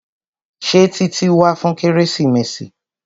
Ṣé Títí wá fún kérésìmesì?